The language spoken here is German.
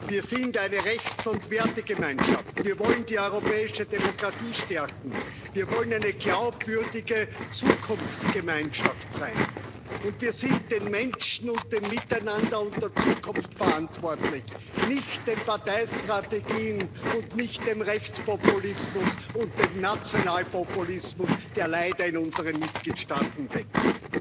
Wir sind eine Rechts und Wertegemeinschaft. Wir wollen die europäische Demokratie stärken. Wir wollen eine glaubwürdige Zukunftsgemeinschaft sein, und wir sind den Menschen und dem Miteinander und der Zukunft verantwortlich, nicht den Parteistrategien und nicht dem Rechtspopulismus und dem Nationalpopulismus, der leider in unseren Mitgliedstaaten wächst.